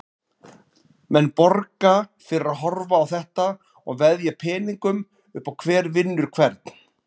Menn borga fyrir að horfa á þetta og veðja peningum upp á hver vinnur hvern.